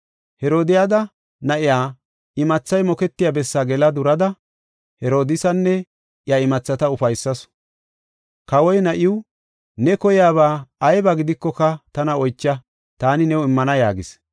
Herodiyada na7iya imathay moketiya bessaa gela durada, Herodiisanne iya imathata ufaysasu. Kawoy na7iw, “Ne koyaba ayba gidikoka tana oycha, taani new immana” yaagis.